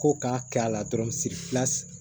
Ko k'a kɛ a la dɔrɔn